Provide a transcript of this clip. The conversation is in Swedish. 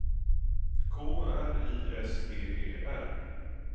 K R I S T E R